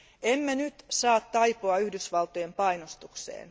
Emme nyt saa taipua Yhdysvaltojen painostukseen.